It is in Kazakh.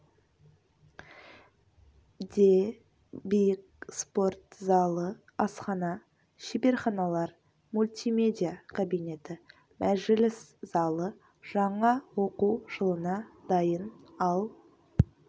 де биік спорт залы асхана шеберханалар мультимедиа кабинеті мәжіліс залы жаңа оқу жылына дайын ал